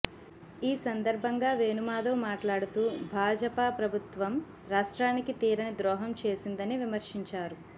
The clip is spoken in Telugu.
ఈ సందర్భంగా వేణుమాధవ్ మాట్లాడుతూ భాజపా ప్రభుత్వం రాష్ట్రానికి తీరనిద్రోహం చేసిందని విమర్శించారు